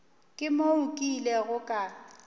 ke moo ke ilego ka